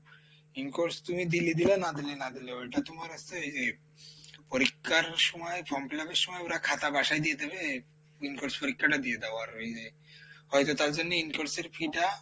in course তুমি দিলে দিলা না দিলে না দিলা ওইটা তোমার হচ্ছে ওইযে পরীক্ষার সময় form fill up এর সময় ওরা খাতা বাসায় দিয়ে দিবে in course পরীক্ষাটা দিয়ে দাও আর ওইযে, ওইযে তার জন্যই in course এর fee টা,